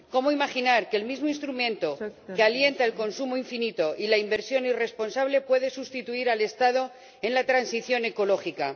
¿Cómo imaginar que el mismo instrumento que alienta el consumo infinito y la inversión irresponsable, puede sustituir al Estado en la transición ecológica?